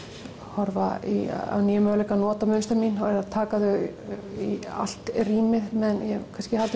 horfa á nýja möguleika í að nota mynstrin mín og taka þau í allt rýmið meðan ég hef kannski haldið